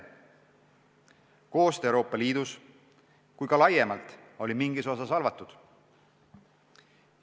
Koostöö nii Euroopa Liidus kui ka laiemalt oli mingis osas halvatud.